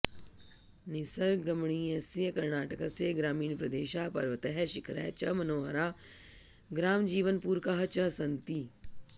निसर्गरमणीयस्य कर्णाटकस्य ग्रामीणप्रदेशाः पर्वतैः शिखरैः च मनोहराः ग्रामजीवनपूरकाः च सन्ति